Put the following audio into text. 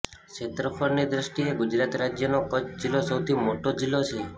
ક્ષેત્રફળની દ્રષ્ટિએ ગુજરાત રાજ્યનો કચ્છ જિલ્લો સૌથી મોટો જિલ્લો છે